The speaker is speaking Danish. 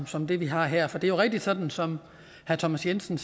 som det vi har her for det er jo rigtigt sådan som herre thomas jensen